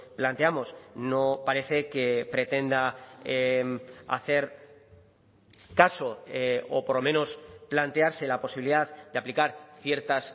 planteamos no parece que pretenda hacer caso o por lo menos plantearse la posibilidad de aplicar ciertas